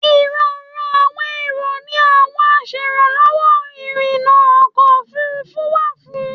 Ìrọ̀rùn àwọn èrò ni àwọn aṣèrànlọ́wọ́ ìrìnnà ọkọ̀ òfurufú wà fún.